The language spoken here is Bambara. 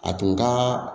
A tun ka